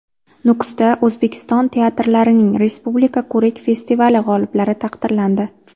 Nukusda O‘zbekiston teatrlarining respublika ko‘rik-festivali g‘oliblari taqdirlandi.